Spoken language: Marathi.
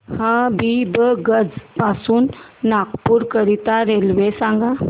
हबीबगंज पासून नागपूर करीता रेल्वे सांगा